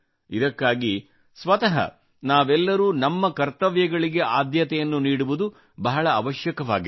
ಇದಕ್ಕಾಗಿ ಸ್ವತಃ ನಾವೆಲ್ಲರೂ ನಮ್ಮ ಕರ್ತವ್ಯಗಳಿಗೆ ಆದ್ಯತೆಯನ್ನು ನೀಡುವುದು ಬಹಳ ಅವಶ್ಯಕವಾಗಿದೆ